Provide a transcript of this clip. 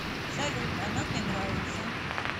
салют она мне нравится